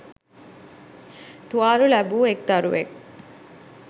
තුවාල ලැබූ එක්‌ දරුවෙක්